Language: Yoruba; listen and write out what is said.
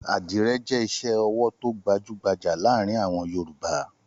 Àdìrẹ́ jẹ́ iṣẹ́-ọwọ́ tó gbajú-gbajà láàárin àwọn Yorùbá.